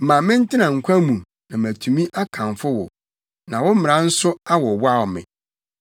Ma mentena nkwa mu na matumi akamfo wo, na wo mmara nso awowaw me.